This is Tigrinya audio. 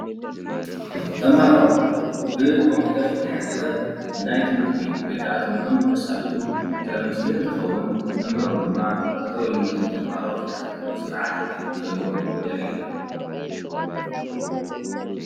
ተማሃሮ ብ ኮምፒዩተር ዝተሓገዘ ናይ ትምህርቲ ወይ ከዓ ትምሕርቶም እንተሳልጡ ዘርኢ ምስሊ እንትከዉን መምህሮም ድማ ጠጠው እሉ ነቶም ተማሃሮ ዝከታተል ዘሎ ሰርዓት የርኢ።